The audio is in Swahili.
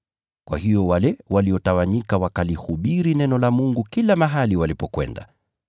Kwa hiyo wale waliotawanyika wakalihubiri neno la Mungu kila mahali walipokwenda.